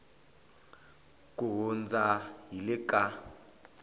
ku hundza hi le ka